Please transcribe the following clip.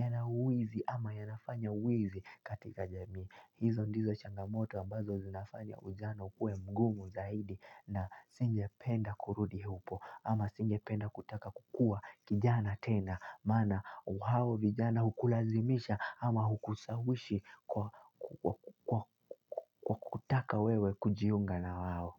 yana wizi ama yanafanya uwizi katika jamii. Hizo ndizo changamoto ambazo zinafanya ujana uwe mgungu zaidi na singe penda kurudi hapo ama singe penda kutaka kukua kijana tena maana ao vijana hukulazimisha ama hukusawishi kwa kutaka wewe kujiunga na waho.